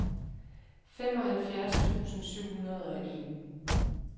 femoghalvfjerds tusind syv hundrede og en